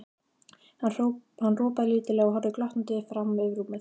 Hann ropaði lítillega og horfði glottandi fram yfir rúmið.